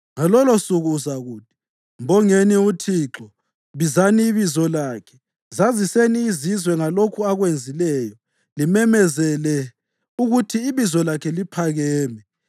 Ngalolosuku uzakuthi: “Mbongeni uThixo, bizani ibizo lakhe, zaziseni izizwe ngalokhu akwenzileyo, limemezele ukuthi ibizo lakhe liphakeme.